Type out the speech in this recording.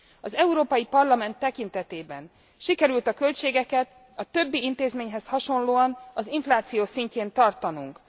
Az Európai Parlament tekintetében sikerült a költségeket, a többi intézményhez hasonlóan, az infláció szintjén tartanunk.